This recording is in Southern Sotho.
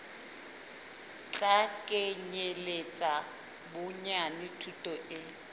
tla kenyeletsa bonyane thuto e